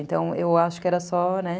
Então, eu acho que era só, né?